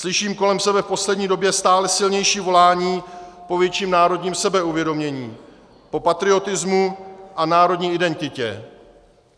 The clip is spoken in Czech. Slyším kolem sebe v poslední době stále silnější volání po větším národním sebeuvědomění, po patriotismu a národní identitě.